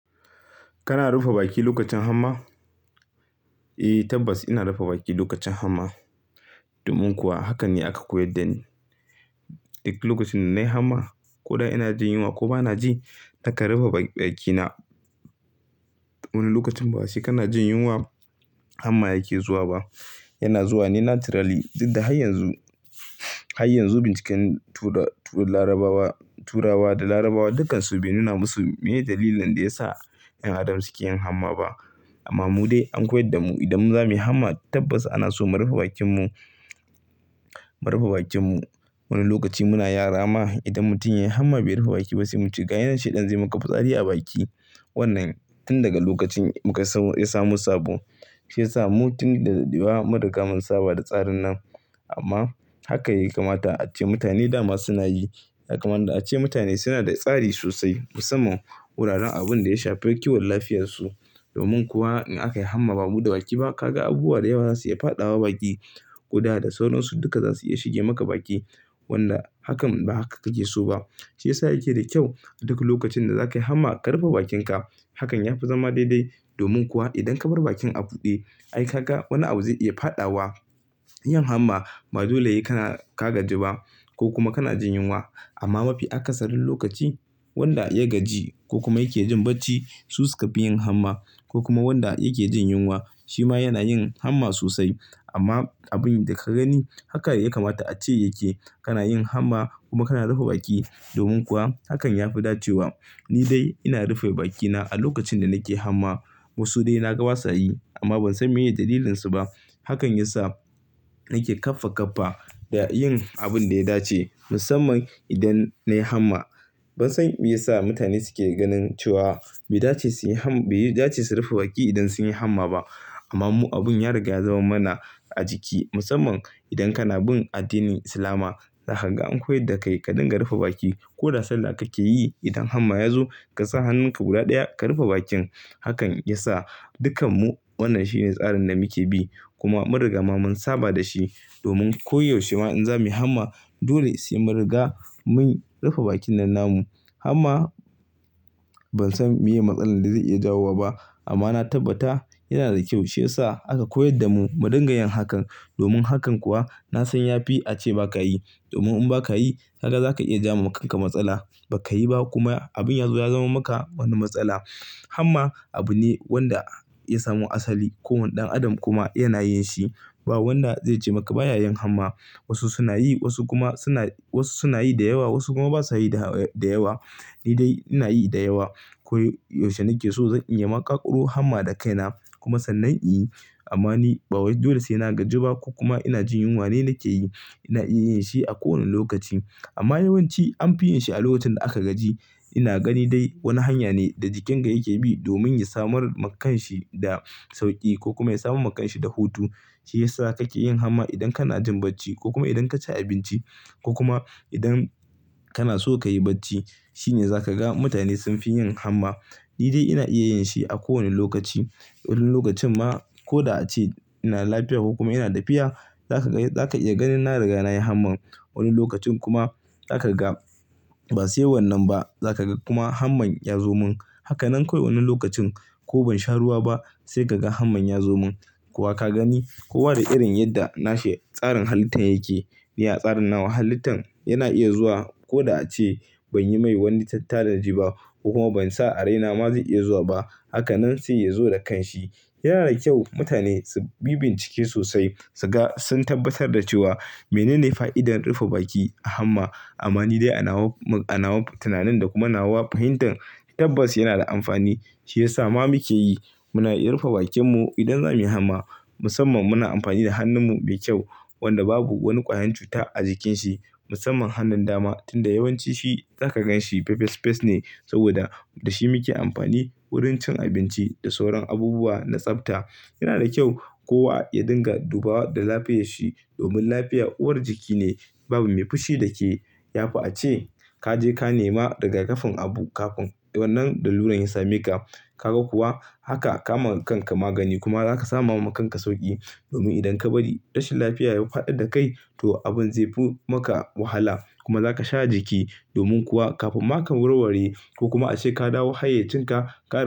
Kana rufe baki lokacin hamma? Eh, tabbas ina rufe baki lokacin hamma. Domin kuwa hakan ne aka koyar da ni. Lokacin da nayi hamma koda ina jin yunwa ko bana ji, na kan rufe bakina. Wani lokacin ba sai kana jin yunwa hamma yake zuwa ba. Yana zuwa ne naturally. Inda har yanzu, har yanzu binciken turarawa da larabawa dukansu bai nuna masu menene dalilin da yasa 'yan adam suke yin hamma ba. Amma mu dai an koyar da mu idan za muyi hamma tabbas ana so mu rufe bakin mu, mu rufe bakin mu. Wani lokaci muna yara ma idan mutum ya yi hamma bai rufe baki ba sai muce ga yinan shaiɗan zai yi mala fitsari a baki. Wanna tun daga lokacin mu ka ya samo ya samo sabo, shi yasa mu tun da ɗaɗewa mun riga mun saba da tsarin nan. Amman hakan ya kamata ace mutane dama suna yi kaga kaman da ace mutane suna da tsari sosai musamman wuraren abun da ya shafi kiwon lafiyarsu. Domin kuwa in aka yi hamma ba'a rufe baki ba ka ga abubuwa dayawa za su iya faɗawa baki. Kuda da sauransu duka zasu iya shige maka baki. Wanda hakan ba haka kake so ba. Shi yasa yake da kyau a duk lokacin da zakayi hamma ka rufe bakinka. Hakan ya fi zama daidai. Domin kuwa idan kabar bakin a buɗe ai kaga wani abu zai iya faɗawa. Yin hamma ba dole he ka ka gaji ba ko kuma kana jin yunwa. Amma mafi akasarin lokaci wanda ya gaji ko kuma yake jin bacci su suka fi yin hamma. Ko kuma wanda yake jin yunwa shi ma yana yin hamma sosai. Amma abun da ka gani haka yayi kamata ace yake. Kana yin hamma kuma kana rufe baki domin kuwa hakan ya fi dacewa nidai ina rufe baki na alokacin da na ke hamma, wasu de na ga ba sa yi amma ban san meye dalilin su ba hakan yasa nake kaffa kaffa da yin abin da ya dace. Musamman idan nayi hamma. Ban san me yasa mutane suke ganin cewa bai dace suyi hamma, bai dace su rufe baki idan sun yi hamma ba. Amma mu abun ya riga ya zama mana a jiki. Musamman idan kana bin addinin Islama. Za kaga an koyar da kai ka dinga rufe baki. Ko da sallah kake yi idan hamma yazo kasa hannunka guda daya ka rufe bakin. Hakan yasa dukkan mu wannan shi ne tsarin da muke bi. Kuma mun riga mun saba da shi. Domin ko yaushe ma in za muyi hamma dole sai mu riga mun rufe bakin nan namu. Hamma ban san me matsalolin da zai iya jawo ba ba. Amma na tabbata yana da kyau. Shi yasa aka koyar da mu mu dinga yin hakan. Domin hakan kuwa na san yafi a ce ba ka yi. Domin in ba ka yi ka ga za ka iya jawo makanka matsala. Bakayi ba kuma abin ya zo ya zaman maka wani matsala. Hamma abu ne wanda ya samu asali. Kowane ɗan adam kuma yana yin shi. Ba wanda zai ce maka ba ya yin hamma. Wasu suna yi dayawa wasu kuma ba sa yi dayawa. Ni dai ina yi da yawa. Ko yaushe nake so zan iya maƙaƙaro hamma da kaina. Kuma sannan in yi. Amma ni bawai dole sai na gaji ba ko kuma ina jin yunwa ne nake yi. Ina iya yin shi a kowane lokaci. Amma yawanci anfi yin shi a lokacin da aka gaji. Ina gani dai wani hanya ne da jikinka yake bi domin ya samar ma kanshi da sauki ko kuma ya samar ma kanshi da hutu. Shi yasa kake yin hamma idan kana jin bacci ko kuma idan ka ci abinci ko kuma idan kana so kayi bacci. Shi ne za kaga mutane sunfi yin hamma. Ni dai ina iya yin shi a ko wane lokaci. Wani lokacin ma koda ace ina lafiya ko kuma ina dafiya. Zaka iya ganin na riga nayi hamman. Wani lokacin kuma za kaga ba sai wannan ba za kaga kuma hamman ya zo mun. Hakanan kawai wani lokacin ko ban sha ruwa ba sai kaga hamman ya zo mun. Ko wa ka gani kowa da irin yadda nashi tsarin halittan yake. Ni a tsarin nawa halittan yana iya zuwa koda ace ban yi mai wani tattanaji ba ko kuma ban sa a raina ma zai iya zuwa ba. Hakanan sai ya zo da kanshi. Yana da kyau mutane su bi bincike sosai. Su ga sun tabbatar da cewa menene fa'idar rufe baki a hamma. Amma ni dai a nawa, a nawa tunanin da kuma nawa fahimtan tabbas yana da amfani. Shi yasa ma muke yi. Muna iya rufe bakin mu idan za muyi hamma. Musamman muna amfani da hannun mu mai kyau. Wanda babu wani kwayan cuta a jikin shi. Musamman hannun dama tunda yawanci shi za ka gan shi fes fes fes ne. Saboda da shi muke amfani wurin cin abinci da sauran abubuwa na tsafta. Yana da kyau kowa ya dinga duba da lafiyayyar shi. Domin lafiya uwar jiki ne. Babu me fushi da ke. Ya fi a ce ka je ka nema daga rigaƙafin abu kafin wannan laluran ya same ka. Kaga kuwa haka ka ma kanka magani kuma zaka samu ma kanka sauki. Domin idan ka bari rashin lafiya ya faɗar da kai to abin zai fi maka wahala. Kuma za ka sha jiki. Domin kuwa kafin ma ka warware. Ko kuma ace ka dawo hayayyacin ka kara.